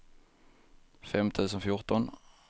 fem tusen fjorton